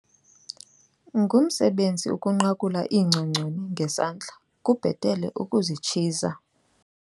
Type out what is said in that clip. Ngumsebenzi ukunqakula iingcongconi ngesandla kubhetele ukuzitshiza.